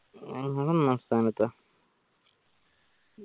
ഞങ്ങള് ഒന്നാം സ്ഥാനത്താ